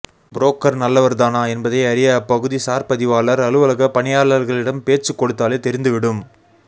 broker நல்லவர்தானா என்பதை அறிய அப்பகுதி சார் பதிவாளர் அலுவலக பணியாளர்களிடம் பேச்சுக் கொடுத்தாலே தெரிந்துவிடும